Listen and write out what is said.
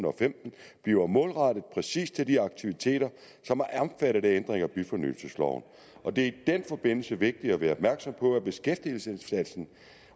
og femten bliver målrettet præcis til de aktiviteter som er omfattet af ændringer i byfornyelsesloven og det er i den forbindelse vigtigt at være opmærksom på at beskæftigelsesindsatsen